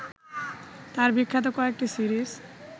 তাঁর বিখ্যাত কয়েকটি সিরিজ